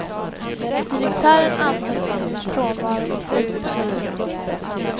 Direktören anhölls i sin frånvaro i slutet av augusti. punkt